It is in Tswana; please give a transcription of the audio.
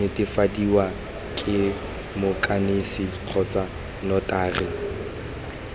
netefadiwa ke moikanisi kgotsa notary